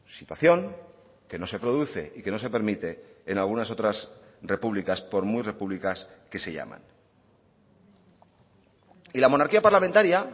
situación que no se produce y que no se permite en algunas otras repúblicas por muy repúblicas que se llaman y la monarquía parlamentaria